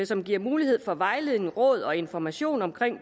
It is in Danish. som giver mulighed for vejledning råd og information om